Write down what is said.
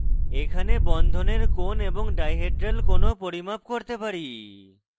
এখানে বন্ধনের কোণ এবং ডাইহেড্রাল কোণ ও পরিমাপ করতে পারি